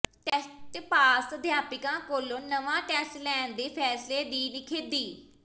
TET pass ਅਧਿਆਪਕਾਂ ਕੋਲੋਂ ਨਵਾਂ ਟੈਸਟ ਲੈਣ ਦੇ ਫ਼ੈਸਲੇ ਦੀ ਨਿਖੇਧੀ